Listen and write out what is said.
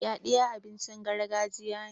yaɗiya abincin gargajiya ne